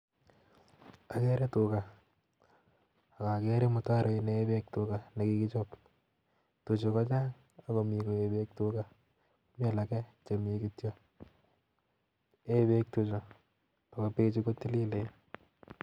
Agere tuga ak agere mutaroit neen beek tuga nekikichop. Tuchu kochang' ak komi koe beek tuga mialak chemi kityo, yee beek tuchu ako bechu kotililen